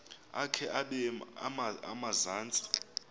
akhe abeke emazantsi